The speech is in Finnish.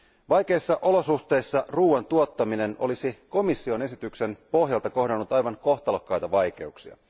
Vaikeissa olosuhteissa ruuan tuottaminen olisi komission esityksen pohjalta kohdannut aivan kohtalokkaita vaikeuksia.